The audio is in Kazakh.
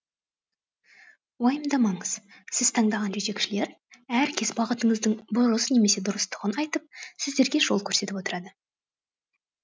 уайымдамаңыз сіз таңдаған жетекшілер әркез бағытыңыздың бұрыс немесе дұрыстығын айтып сіздерге жол көрсетіп отырады